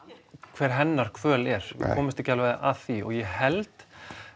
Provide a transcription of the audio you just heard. hvernig hennar kvöl er við komumst ekki alveg að því og ég held